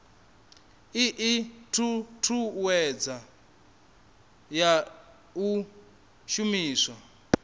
ii thuthuwedzo ya u shumiswa